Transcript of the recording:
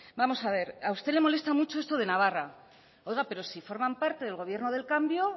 vamos a ver a usted le molesta mucho esto de navarra oiga pero si forman parte del gobierno del cambio